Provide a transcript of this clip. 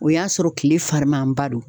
O y'a sɔrɔ kile fariman ba don